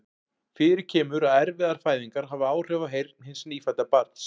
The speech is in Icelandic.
Fyrir kemur að erfiðar fæðingar hafa áhrif á heyrn hins nýfædda barns.